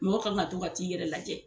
Mɔgɔ kan ka to ka t'i yɛrɛ lajɛ.